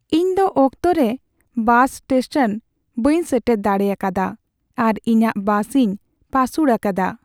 ᱤᱧ ᱫᱚ ᱚᱠᱛᱚ ᱨᱮ ᱵᱟᱥ ᱤᱥᱴᱮᱥᱚᱱ ᱵᱟᱹᱧ ᱥᱮᱴᱮᱨ ᱫᱟᱲᱮ ᱟᱠᱟᱫᱼᱟ ᱟᱨ ᱤᱧᱟᱹᱜ ᱵᱟᱥᱤᱧ ᱯᱟᱹᱥᱩᱲ ᱟᱠᱟᱫᱟ ᱾